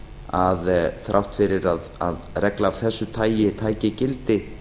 að þrátt fyrir að regla af þessi tagi tæki gildi